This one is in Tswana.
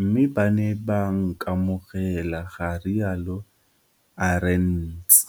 mme ba ne ba nkamogela, ga rialo Arendse.